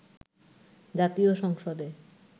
জাতীয় সংসদে